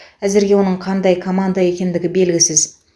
әзірге оның қандай команда екендігі белгісіз